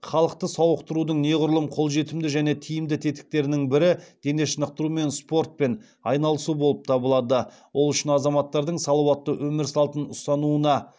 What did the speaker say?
халықты сауықтырудың неғұрлым қолжетімді және тиімді тетіктерінің бірі дене шынықтыру мен спортпен айналысу болып табылады ол үшін азаматтардың салауатты өмір салтын ұстануына